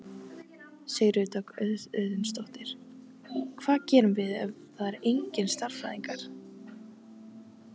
Sigríður Dögg Auðunsdóttir: Hvað gerum við ef það er engir sérfræðingar?